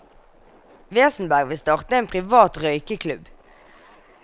Wesenberg vil starte en privat røykeklubb.